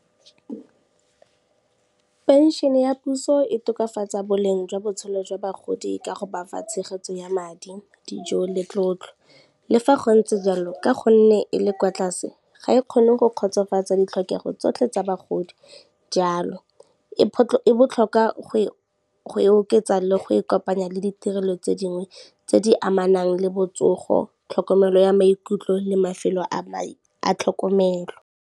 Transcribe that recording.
Pension ya puso e tokafatsa boleng jwa botshelo jwa bagodi ka go bafa tshegetso ya madi, dijo le tlotlo. Le fa go ntse jalo, ka gonne e le kwa tlase ga e kgone go kgotsofatsa ditlhokego tsotlhe tsa bagodi jalo, e botlhokwa go e oketsa le go e kopanya le ditirelo tse dingwe tse di amanang le botsogo, tlhokomelo ya maikutlo le mafelo a tlhokomelo.